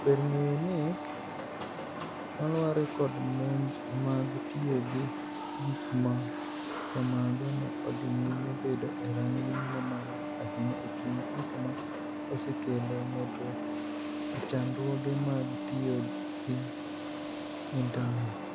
Ber ng'eyo ni, malware kod monj mag tiyo gi gik ma kamago ne odhi nyime bedo e rang'iny mamalo ahinya e kind gik ma osekelo medruok e chandruoge mag tiyo gi Intanet.